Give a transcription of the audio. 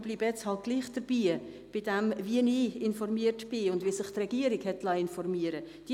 Ich bleibe nun jedoch dabei, wie ich informiert bin und wie sich die Regierung informieren liess.